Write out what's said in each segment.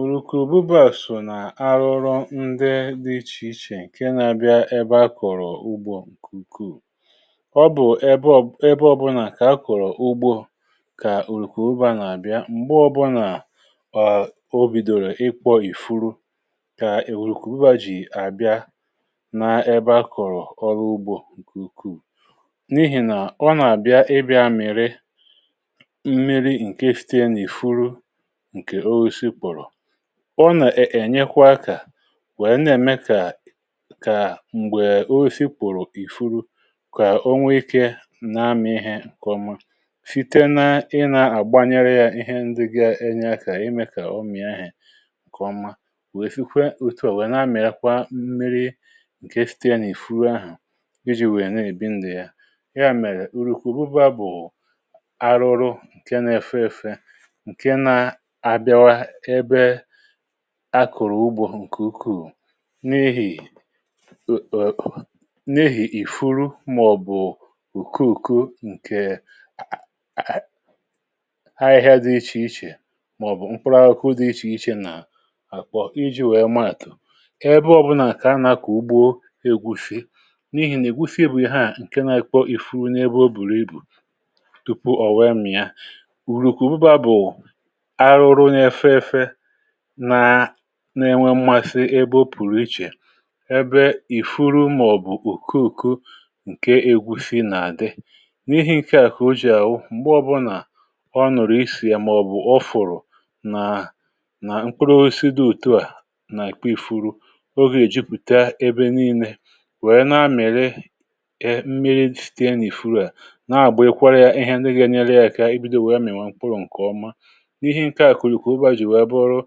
Ọrùku ùbụbȧ sò nà arụrụ ndi dị̇ ichè ichè ǹke nȧ-abịa ebe a kọ̀rọ̀ ugbȯ ǹku ukwuu. ọ bụ̀ ebe ọ̀bụna kà a kọ̀rọ̀ ugbȯ kà òrùku uba nà-àbịa m̀gbè ọbụnà ọ bùdòrò ịkpọ̇ ìfuru kà èwùrùku uba jì àbịa nȧ-ebe a kọ̀rọ̀ ọrụ ugbȯ ǹku ùkù, n’ihì nà ọ nà-àbịa ịbịȧ mėrė mmiri ǹke fite nà ìfuru nke ọsịsị pụrụ. ọ nà-ènyekwa akȧ nwèe na-ème ka kà m̀gbè osi pụ̀rụ̀ n ìfuru, kà onwe ikė na-amụ̇ ihe ǹkèọma site na ịnȧ àgbanyere yȧ ihe ndị ga-enye akȧ imė kà ọ mìi ahė kọma, wèe sikwe ùtù ò nwèe na-amị̀akwa mmiri ǹkè si̇tè n’ìfuru ahụ̀ iji̇ nwèe na-èbi ndụ̀ ya. ya mèrè ùrìkwà ụbȧ bụ̀ arụrụ ǹke na-èfe èfe, nke na abiawa na ebe akụ̀rụ̀ ugbȯ ǹkè ukwuù. n’ihì èèè n’ihì ìfuru màọ̀bụ̀ ùko ùko ǹkè a a ha ahịhịa dị ichè ichè, màọ̀bụ̀ mkpụrụ akụ dị ichè ichè nà àkpọ iji̇ wèe maàtụ̀ ebe ọ̀bụ̀la kà anàkọ̀ ugbȯ egwufe, n’ihì nà ègwufe bù ihe à ǹke nȧ-ėkwọ ìfuru nà ebe o bùrù ibù tupu ọ̀ wee mìa. Ọrụkụ bụba bụ arụrụ na efe efe, na na enwe mmasị ebe ọpụrụ ịche, ebe ịfụrụ maọbụ ọkọkọ nke egwu̇si̇ nà di. n’ihi nke à kà ojì à wụ m̀gbe ọbụnà ọnụ̀rụ̀ isìè, màọ̀bụ̀ ọfụ̀rụ̀ nà nà mkpuru osido òtuà nà èkpe ì furu ogè è jupùta ebe nii̇lė wèe na-amịra e mmiri sìtèe n’ìfuru à na-àgbà ekwere yȧ ihe ndị ga-enyere yȧ kà e bido wèe mị̀nwa mkpuru ǹkèọma. N’ihi nke a ka ọrụkụ bụba jị wèè bụrụ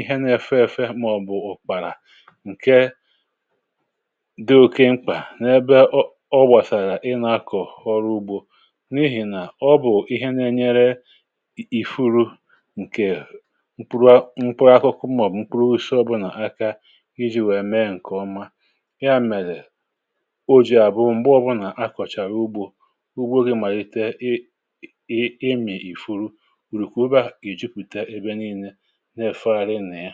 ihe na-efe ėfe, màọ̀bụ̀ ụ̀kpàrà, ǹke dị̇ oke mkpà n’ebe ọ bọ̀sàghà ị nȧ-akọ̀ ọrụ ugbȯ, n’ihì nà ọ bụ̀ ihe na-enyere ì furu ǹkè mkpụrụa mkpụrụ akụkụ màọ̀bụ̀ mkpụrụ si ọbụlà aka i ji̇ wèe mee ǹkèọma. ya mèdụ̀ o jì abụọ m̀gbe ọbụlà nà-akọ̀chàrà ugbȯ, ugbo gị mà yìtè ị ịmị̇ ìfuru urù kà ebe a ìjupùte ebe niilė ǹa efegharị na ya.